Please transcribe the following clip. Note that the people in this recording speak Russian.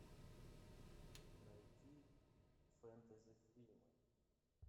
найти фэнтези фильмы